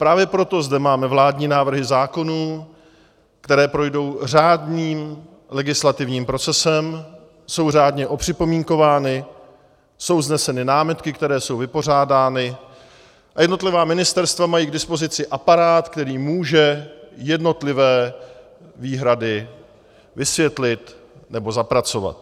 Právě proto zde máme vládní návrhy zákonů, které projdou řádným legislativním procesem, jsou řádně opřipomínkovány, jsou vzneseny námitky, které jsou vypořádány, a jednotlivá ministerstva mají k dispozici aparát, který může jednotlivé výhrady vysvětlit nebo zapracovat.